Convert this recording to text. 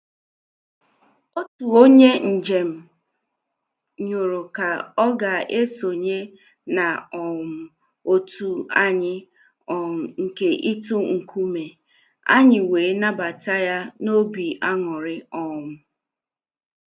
Otu onye mjem yoro ka ọ ga-esonye na um otu anyị um nke itu nkume, anyị wee nabata ya n' obi aṅụrị. um